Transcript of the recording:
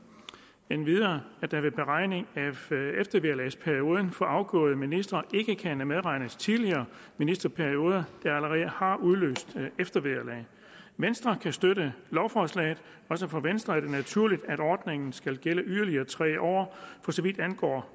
og endvidere at der ved beregning af eftervederlagsperioden for afgåede ministre ikke kan medregnes tidligere ministerperioder der allerede har udløst eftervederlag venstre kan støtte lovforslaget også for venstre er det naturligt at ordningen skal gælde yderligere tre år for så vidt angår